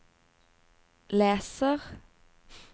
leser